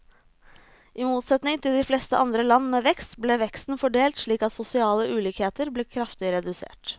I motsetning til de fleste andre land med vekst, ble veksten fordelt slik at sosiale ulikheter ble kraftig redusert.